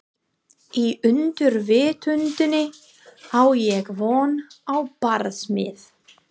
Í undirvitundinni á ég von á barsmíð.